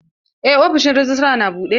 Eh ofishin rejistra na buɗe.